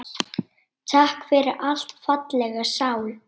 Takk fyrir allt, fallega sál.